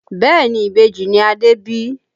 Bẹ́ẹ̀ni ìbejì ni Adé bí